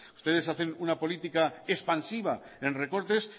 ustedes hacen una política expansiva en recortes